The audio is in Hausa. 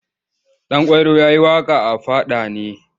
Ɗanƙwairo ya yi waƙa a fada ne.